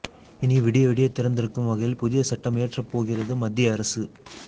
இனி விடிய விடியத் திறந்திருக்கும் வகையில் புதிய சட்டம் இயற்றப்போகிறது மத்திய அரசு